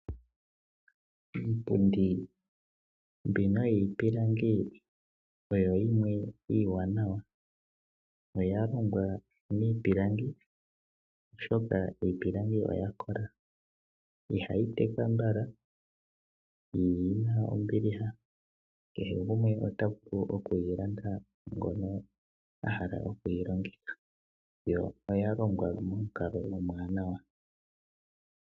Iipundi mbino yiipilangi oyo yimwe iiwaanawa, oya longwa miipilangi, oshoka iipilangi oya kola, ihayi teka mbala, yo oyina ombiliha, kehe gumwe ota vulu oku yi landa ngono a hala oku yi longitha, yo oya longwa momukalo omwaanawa.